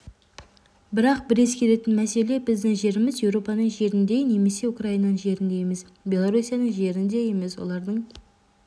бірақ бір ескеретін мәселе біздің жеріміз еуропаның жеріндей немесе украинаның жеріндей емес белоруссияның жерінде емес олардың